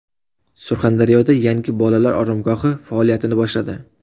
Surxondaryoda yangi bolalar oromgohi faoliyatini boshladi.